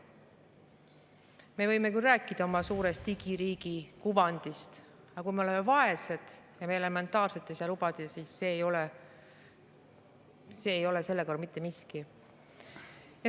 Me võime küll rääkida oma suurest digiriigi kuvandist, aga kui me oleme vaesed ja me ei saa elementaarset lubada, siis see ei ole selle kõrval mitte miski.